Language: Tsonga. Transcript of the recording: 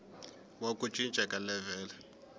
wa ku cinca ka levhele